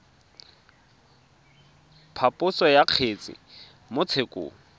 phaposo ya kgetse mo tshekong